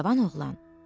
Cavan oğlan.